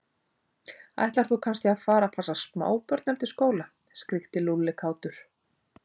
Ætlar þú kannski að fara að passa smábörn eftir skóla? skríkti Lúlli kátur.